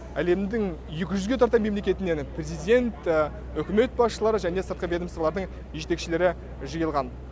әлемдің екі жүзге тарта мемлекетінен президент үкімет басшылары және сыртқы ведомстволардың жетекшілері жиылған